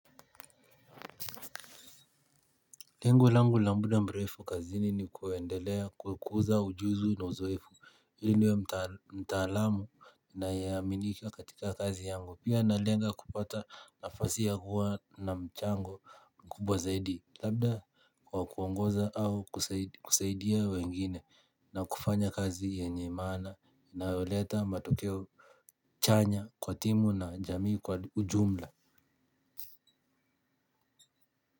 Lengo langu la muda mrefu kazini ni kuendelea kukuza ujuzi na uzoefu. Hili niwe mtaalamu ninayeaminika katika kazi yangu pia nalenga kupata nafasi ya huwa na mchango kubwa zaidi. Labda kwa kuongoza au kusaidia wengine na kufanya kazi yenye imana inayoleta matokeo chanya kwa timu na jamii kwa ujumla.